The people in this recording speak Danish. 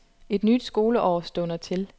Et nyt skoleår stunder til.